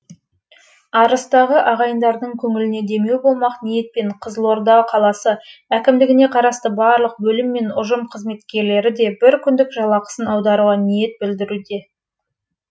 арыстағы ағайындардың көңіліне демеу болмақ ниетпен қызылорда қаласы әкімдігіне қарасты барлық бөлім мен ұжым қызметкерлері де бір күндік жалақысын аударуға ниет білдіруде